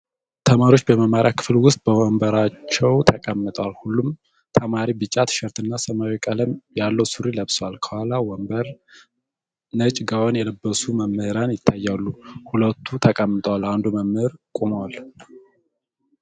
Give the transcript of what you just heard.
ተማሪዎች በመማሪያ ክፍል ዉስጥ በወንበራቸዉ ተቀምጠዋል። ሁሉም ተማሪ ቢጫ ቲሸርት እና ሰማያዊ ቀለም ያለዉ ሱሪ ለብሰዋል። ከኋላ ወንበር ነጭ ጋወን የለበሱ መምህራን ይታያሉ። ሁለቱ ተቀምጠዋል። አንዱ መምህር ቆሟል።